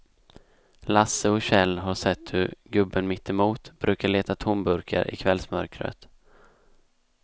Lasse och Kjell har sett hur gubben mittemot brukar leta tomburkar i kvällsmörkret.